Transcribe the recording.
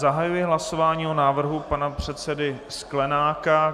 Zahajuji hlasování o návrhu pana předsedy Sklenáka.